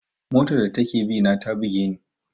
Motar da take bina ta buge ni.